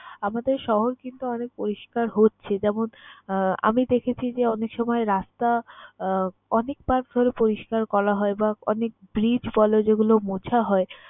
আমাদের শহর কিন্তু অনেক পরিষ্কার হচ্ছে। যেমন আহ আমি দেখেছি যে অনেক সময় রাস্তা আহ অনেকবার করে পরিষ্কার করা হয় বা অনেক bridge বল যেগুলো মুছা হয়